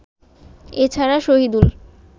এছাড়া শহিদুল